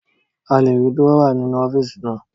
A lè rí Dúrọ́à nínú ọ́fíìsì naa